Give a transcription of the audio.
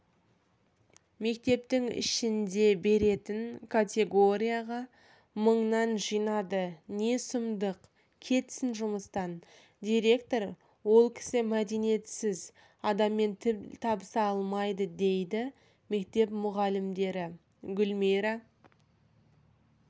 мектептің ішінде беретін категорияға мыңнан жинады не сұмдық кетсін жұмыстан директор ол кісі мәдениетсіз адаммен тіл табыса алмайды дейді мектеп мұғалімігүлмира